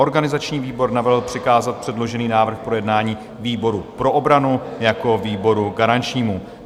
Organizační výbor navrhl přikázat předložený návrh k projednání výboru pro obranu jako výboru garančnímu.